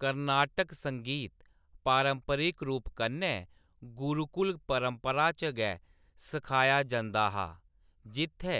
कर्नाटक संगीत पारंपरिक रूप कन्नै गुरुकुल परपंरा च गै सिखाया जंदा हा, जित्थै